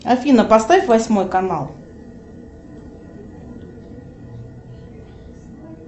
афина поставь восьмой канал